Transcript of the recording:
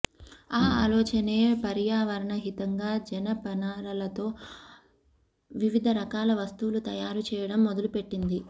ఆ ఆలోచనే పర్యావరణహితంగా జనపనారతో వివిధ రకాల వస్తువులు తయారు చేయడం మొదలుపెట్టింది